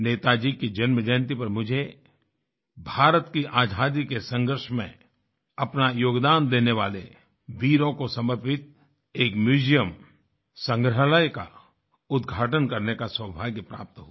नेताजी की जन्म जयन्ती पर मुझे भारत की आजादी के संघर्ष में अपना योगदान देने वाले वीरों को समर्पित एक म्यूजियम संग्रहालय का उद्घाटन करने का सौभाग्य प्राप्त हुआ